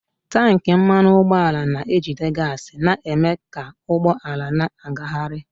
Tankị mmanụ ụgbọala na-ejide gaasị na-eme ka ụgbọ ala na-agagharị.